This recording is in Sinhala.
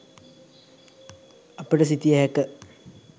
අපට සිතිය හැක.